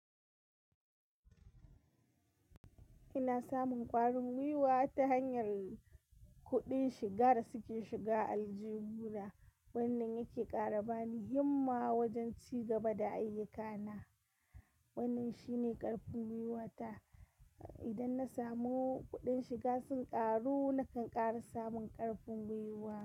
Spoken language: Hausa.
Ina samun ƙwarin gwiwa ta hanyar kuɗin shiga da suke shiga aljihu na. Wannan yake ƙara bani himma wajen ci gaba da ayyukana. Wannan shi ne ƙarfin gwiwata. Idan na samu kuɗin shiga sun ƙaru, nakan ƙara samun ƙarfin gwiwa.